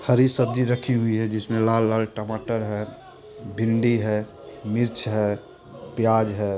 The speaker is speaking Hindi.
हरी सब्जी रक्खी हुई है जिसमे लाल-लाल टमाटर है भिंडी है मिर्च है प्याज है।